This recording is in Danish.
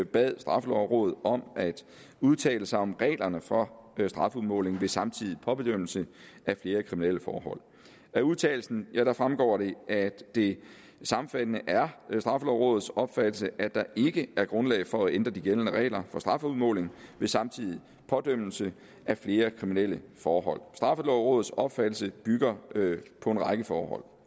bad straffelovrådet om at udtale sig om reglerne for strafudmålingen ved samtidig pådømmelse af flere kriminelle forhold af udtalelsen fremgår det at det sammenfattende er straffelovrådets opfattelse at der ikke er grundlag for at ændre de gældende regler for strafudmåling ved samtidig pådømmelse af flere kriminelle forhold straffelovrådets opfattelse bygger på en række forhold